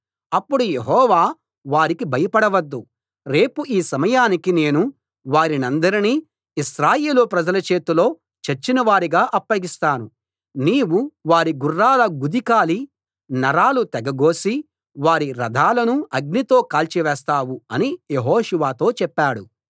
అప్పుడు యెహోవా వారికి భయపడవద్దు రేపు ఈ సమయానికి నేను వారినందరినీ ఇశ్రాయేలు ప్రజల చేతిలో చచ్చినవారుగా అప్పగిస్తాను నీవు వారి గుర్రాల గుదికాలి నరాలు తెగగోసి వారి రథాలను అగ్నితో కాల్చివేస్తావు అని యెహోషువతో చెప్పాడు